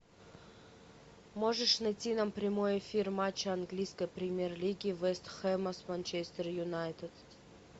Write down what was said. можешь найти нам прямой эфир матча английской премьер лиги вест хэма с манчестер юнайтед